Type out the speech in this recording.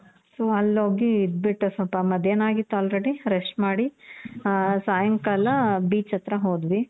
so ಅಲ್ಲಿ ಹೋಗಿ ಇದ್ದು ಬಿಟ್ಟು ಸ್ವಲ್ಪ ಮಧ್ಯಾನ ಆಗಿತ್ತು already rest ಮಾಡಿ, ಆ ಸಾಯಂಕಾಲ beach ಹತ್ರ ಹೋದ್ವಿ